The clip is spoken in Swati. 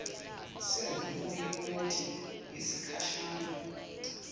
semvumo yemoti yesikhashana